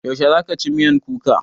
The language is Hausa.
Yaushe za ka ci miyan kuka?